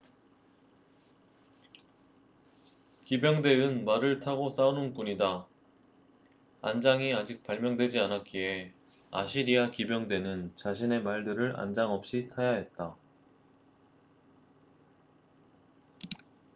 기병대은 말을 타고 싸우는 군이다 안장이 아직 발명되지 않았기에 아시리아 기병대는 자신의 말들을 안장 없이 타야 했다